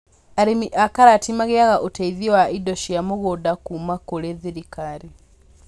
Arĩmi a karati magĩaga ũteithio wa indo cia mũgũnda kuma kũrĩ thirikari